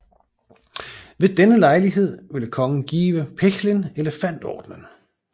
Ved denne lejlighed ville kongen give Pechlin Elefantordenen